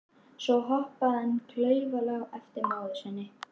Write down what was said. Svo hoppaði hann klaufalega á eftir móður sinni.